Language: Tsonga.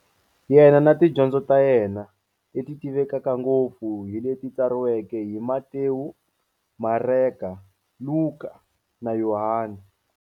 Yena na tidyondzo ta yena, leti tivekaka ngopfu hi leti tsariweke hi-Matewu, Mareka, Luka, na Yohani.